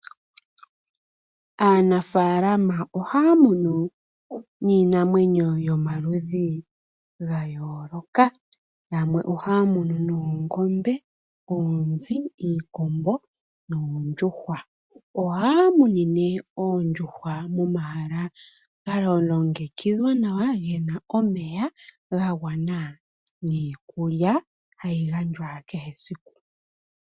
Aanafaalama ohaya munu niinamwenyo yomaludhi gayooloka yamwe ohaya munu noongombe, oonzi, iikombo noondjuhwa. Ohaya munine oondjuhwa momahala galongekidhwa nawa gena omeya gagwana niikulya hayi gandjwa kehesiku.